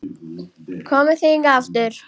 Komið þið hingað aftur!